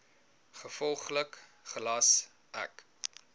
gevolglik gelas ek